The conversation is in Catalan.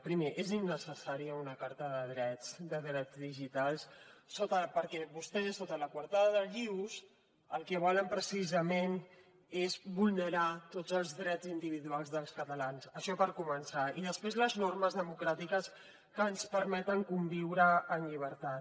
primer és innecessària una carta de drets digitals perquè vostès sota la coartada del ius el que volen precisament és vulnerar tots els drets individuals dels catalans això per començar i després les normes democràtiques que ens permeten conviure en llibertat